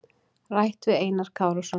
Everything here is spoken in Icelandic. Rætt við Einar Kárason.